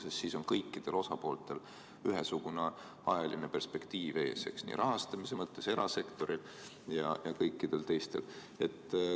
Sest siis on kõikidel osapooltel rahastamise mõttes ühesugune ajaline perspektiiv ees – erasektoril ja kõikidel teistel.